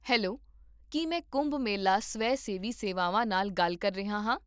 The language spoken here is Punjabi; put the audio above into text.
ਹੈਲੋ, ਕੀ ਮੈਂ ਕੁੰਭ ਮੇਲਾ ਸਵੈ ਸੇਵੀ ਸੇਵਾਵਾਂ ਨਾਲ ਗੱਲ ਕਰ ਰਿਹਾ ਹਾਂ?